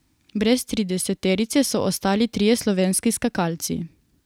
Brez trideseterice so ostali trije slovenski skakalci.